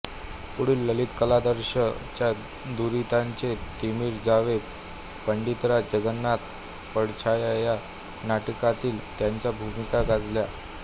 पुढे ललितकलादर्श च्या दुरितांचे तिमिर जावो पंडितराज जगन्नाथ पडछाया या नाटकांतील त्यांच्या भूमिका गाजल्या